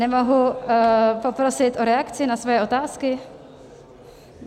Nemohu poprosit o reakci na svoje otázky?